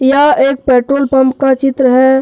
यह एक petrol pump का चित्र है।